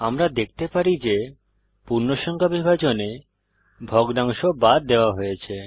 আমরা দেখতে পারি যে পূর্ণসংখ্যা বিভাজনে ভগ্নাংশ বাদ দেওয়া হয়েছে